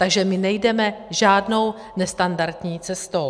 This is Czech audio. Takže my nejdeme žádnou nestandardní cestou.